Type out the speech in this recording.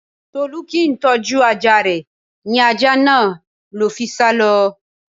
Tolú kì ń tọ́jú ajá rè, ní ajá náà ló fi sá lọ.